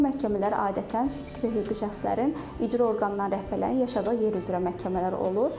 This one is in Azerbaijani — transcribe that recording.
Bu məhkəmələr adətən fiziki və hüquqi şəxslərin icra orqanları rəhbərlərinin yaşadığı yer üzrə məhkəmələr olur.